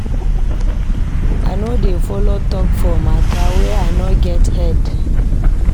I no dey folo tok for mata wey no get head.